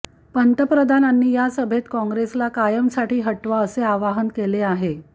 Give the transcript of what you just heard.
पंतप्रधानांनी या सभेत काँग्रेसला कायमसाठी हटवा असे आवाहन केले आहे